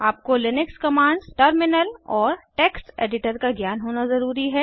आपको Linux commands terminal और text editor का ज्ञान होना ज़रूरी है